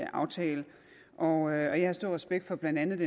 aftale og jeg har stor respekt for blandt andet